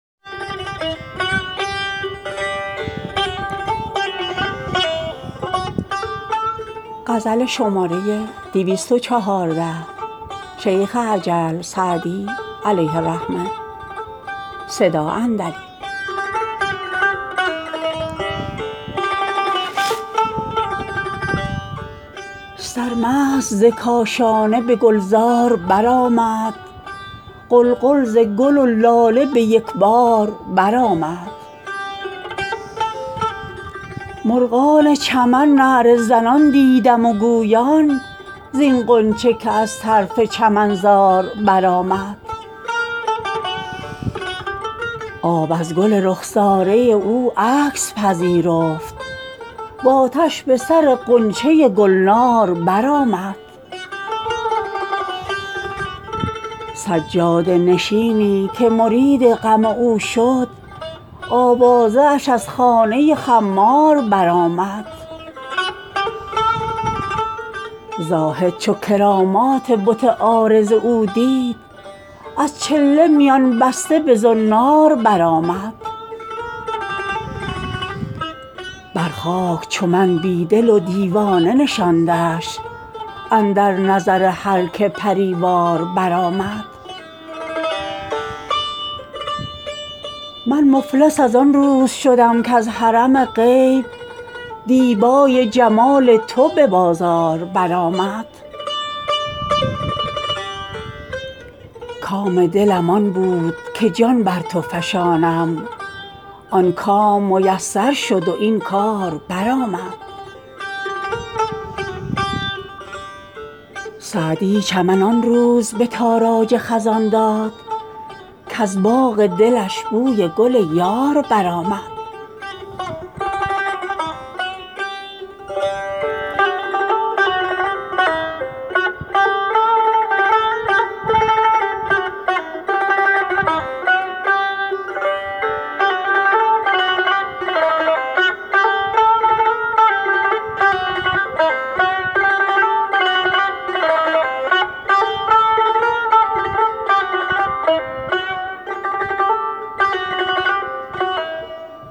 سرمست ز کاشانه به گلزار برآمد غلغل ز گل و لاله به یک بار برآمد مرغان چمن نعره زنان دیدم و گویان زین غنچه که از طرف چمنزار برآمد آب از گل رخساره او عکس پذیرفت و آتش به سر غنچه گلنار برآمد سجاده نشینی که مرید غم او شد آوازه اش از خانه خمار برآمد زاهد چو کرامات بت عارض او دید از چله میان بسته به زنار برآمد بر خاک چو من بی دل و دیوانه نشاندش اندر نظر هر که پری وار برآمد من مفلس از آن روز شدم کز حرم غیب دیبای جمال تو به بازار برآمد کام دلم آن بود که جان بر تو فشانم آن کام میسر شد و این کار برآمد سعدی چمن آن روز به تاراج خزان داد کز باغ دلش بوی گل یار برآمد